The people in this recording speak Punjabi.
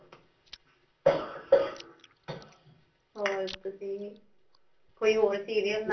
ਹੋਰ ਤੁਸੀਂ ਕੋਈ ਹੋਰ serial